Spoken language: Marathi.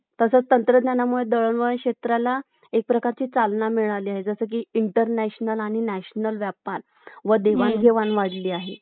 तसेच तंत्रज्ञानामुळे दळणवळण क्षेत्राला एक प्रकारची चालना मिळाली आहे जसं की International आणि National व्यापार व देवाणघेवाण वाढली आहे